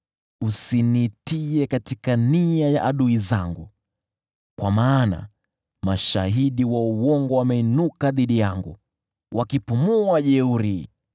Usiniachilie kwa nia za adui zangu, kwa maana mashahidi wa uongo wameinuka dhidi yangu, wakipumua ujeuri.